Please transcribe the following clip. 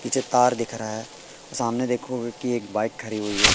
पीछे तार दिख रहा है सामने देखो की एक बाइक खड़ी हुई हैं।